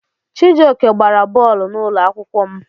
Chijioke gbara bọọlụ n'ụlọ akwụkwọ m.